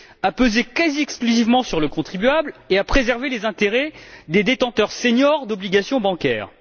PIB, a pesé quasi exclusivement sur le contribuable et a préservé les intérêts des détenteurs seniors d'obligations bancaires.